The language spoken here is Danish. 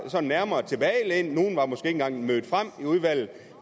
sådan nærmere tilbagelænet nogle var måske ikke engang mødt frem i udvalget